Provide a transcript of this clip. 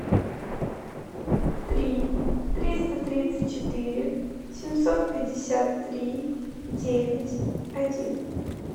три триста тридцать четыре семьсот пятьдесят три девять один